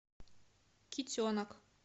китенок